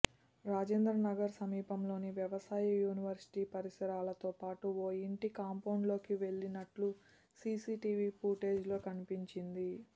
రాజేంద్రనగర్ సమీపంలోని వ్యవసాయ యూనివర్శిటీ పరిసరాలతో పాటు ఓ ఇంటి కాంపౌండ్లోకి వెళ్లినట్లు సీసీ టీవీ ఫుటేజ్లో కనిపించింది